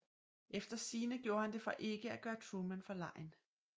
Efter sigende gjorde han det for ikke at gøre Truman forlegen